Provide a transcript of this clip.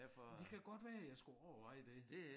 Men det kan godt være jeg skulle overveje det